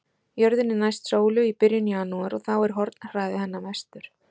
Jörðin er næst sólu í byrjun janúar og þá er hornhraði hennar mestur.